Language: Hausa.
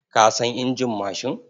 Ka san injin mashin?